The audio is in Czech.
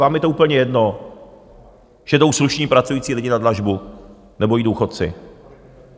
Vám je to úplně jedno, že jdou slušní pracující lidé na dlažbu, nebo i důchodci.